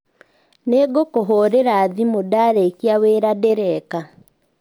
Nĩngũkũhũrĩra thĩmũ ndarĩkĩa wĩra ndĩreka